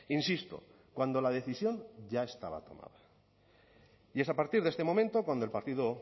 insisto cuando la decisión ya estaba tomada y es a partir de este momento cuando el partido